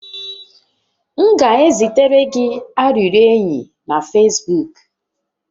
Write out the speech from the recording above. M ga-ezitere gị arịrịọ enyi na Fesbuuk